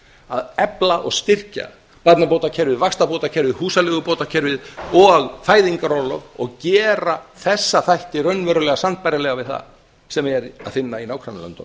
að efla og styrkja barnabótakerfið vaxtabótakerfið húsaleigubótakerfið og fæðingarorlof og gera þessa þætti raunverulega sambærilega við það sem er að finna í nágrannalöndunum